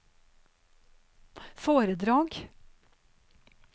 foredrag